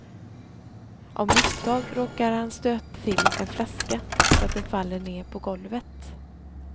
Av misstag råkar han stöta till en flaska så att den faller ner på golvet.